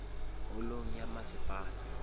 holong ya masepala